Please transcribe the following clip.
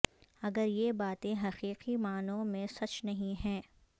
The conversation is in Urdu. اگر یہ باتیں حقیقی معانوں میں سچ نہیں ہیں